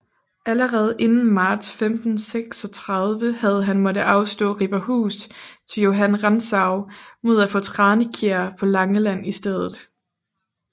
Allerede inden marts 1536 havde han måttet afstå Riberhus til Johan Rantzau mod at få Tranekjær på Langeland i stedet